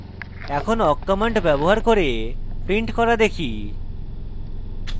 এখন awk command ব্যবহার করে print করা দেখি